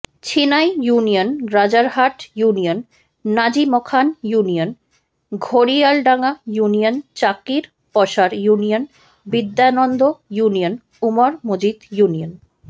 Chhinai union Rajarhat union Nazimkhan union Ghoriyaldanga ইউনিয়নচাকিরপশার ইউনিয়নবিদ্যানন্দ union Umar Majid union